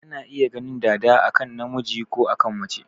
Ana iya ganin dada a kan namiji ko a kan mace.